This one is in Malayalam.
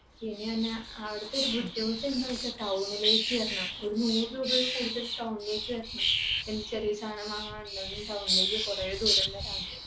പിന്നെ എന്നാ അവിടത്തെ ഒരു ബുദ്ധിമുട്ട് എന്താന്നുവെച്ചാൽ town ലേക്ക് വരണം. ഒരു നൂറു രൂപയൊക്കെ കൊടുത്തിട്ടു town ലേക്ക് വരണം. എന്ത് ചെറിയ സാധനം വാങ്ങാൻ ഉണ്ടെങ്കിലും town ലേക്ക് കൊറേ ദൂരം വരണം